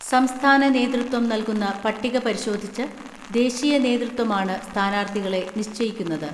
സംസ്ഥാന നേതൃത്വം നൽകുന്ന പട്ടിക പരിശോധിച്ച് ദേശീയ നേതൃത്വമാണ് സ്ഥാനാർത്ഥികളെ നിശ്ചയിക്കുന്നത്.